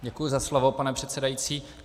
Děkuji za slovo, pane předsedající.